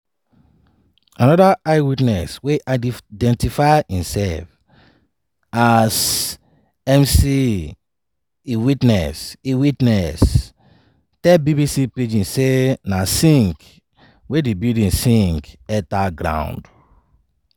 anoda eye witness wey identify imsef as mc iwitness iwitness tell bbc pidgin say na sink wey di building sink enta ground.